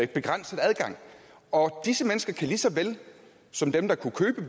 begrænset adgang og disse mennesker kan lige så vel som dem der kunne købe